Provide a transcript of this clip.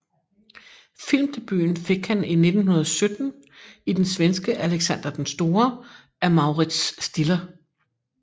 Filmdebuten fik han i 1917 i den svenske Alexander den Store af Mauritz Stiller